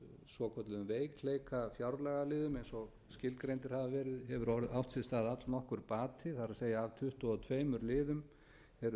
svokölluðum veikleikafjárlagaliðum eins og skilgreindir hafa verið hefur átt sér stað allnokkur bati það er að af tuttugu og tveimur liðum hafa